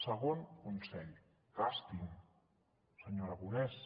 segon consell gastin senyor aragonès